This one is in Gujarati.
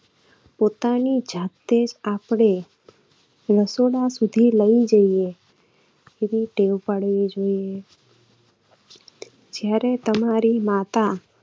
પોતાની જાતે આપણે રસોડા સુધી લઇ જઈએ એવી ટેવ પડવી જોઈએ. જયારે તમારી માતા